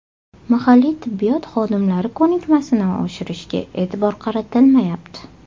Mahalliy tibbiyot xodimlari ko‘nikmasini oshirishga e’tibor qaratilmayapti.